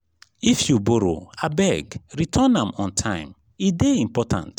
if you borrow abeg return am on time. e dey important.